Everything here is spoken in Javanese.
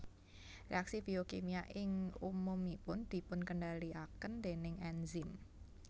Reaksi biokimia ing umumipun dipunkendaliaken déning enzim